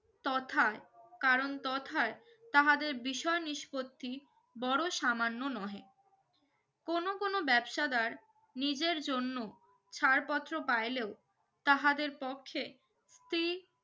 তথা কারণ তথায় তাহাদের বিষয় নিস্পত্তি বড় সামান্য নহে কোন কোন ব্যবসাদার নিজের জন্য ছাড় পত্র পাইলেও তাহাদের পক্ষে স্ত্রী